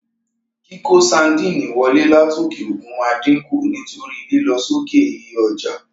Kíkó sandínì wolé látòkè òkun ma dínkù nítorí lílo sókè iye ojà.